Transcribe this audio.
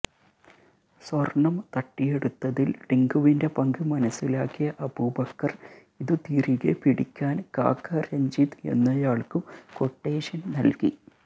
സ്വർണം തട്ടിയെടുത്തതിൽ ടിങ്കുവിന്റെ പങ്ക് മനസിലാക്കിയ അബൂബക്കർ ഇതു തിരികെപ്പിടിക്കാൻ കാക്ക രഞ്ജിത്ത് എന്നയാൾക്കു ക്വട്ടേഷൻ നൽകി